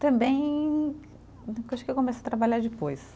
Também, acho que eu comecei a trabalhar depois.